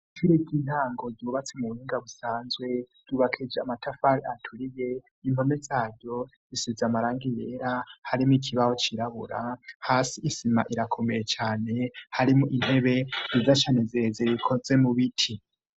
Ishure ry'intango ryubatse mu buhunga busanzwe rubakeje amatafari aturiye inpone zaryo zisize amarangi yera harimo ikibaho cirabura hasi isima irakomeye cyane harimo intebe rizashyanezeze rikose mu biti.